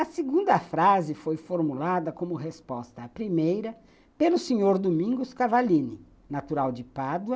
A segunda frase foi formulada como resposta à primeira pelo senhor Domingos Cavallini, natural de Pádua.